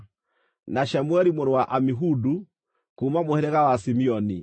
na Shemueli mũrũ wa Amihudu, kuuma mũhĩrĩga wa Simeoni;